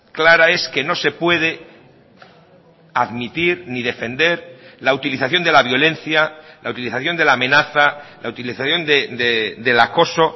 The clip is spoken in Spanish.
clara es que no se puede admitir ni defender la utilización de la violencia la utilización de la amenaza la utilización del acoso